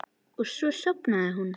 Og svo sofnaði hún.